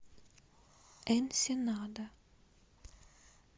энсенада